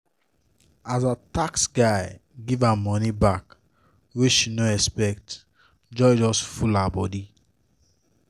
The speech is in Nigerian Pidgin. as her tax guy give her money back wey she no expect joy just full her body